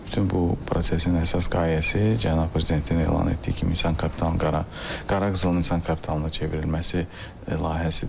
Bütün bu prosesin əsas qayəsi cənab prezidentin elan etdiyi kimi insan kapitalının qara qızılın insan kapitalına çevrilməsi layihəsidir.